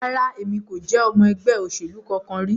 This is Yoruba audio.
Rara, Emi ko je ọmọ ẹgbẹ oselu kankan ri